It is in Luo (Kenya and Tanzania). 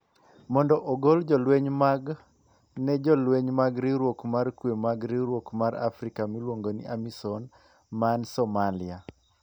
mondo ogol jolweny mage ne Jolweny mag Riwruok mar Kuwe mag Riwruok mar Afrika miluongo ni AMISOM man Somalia.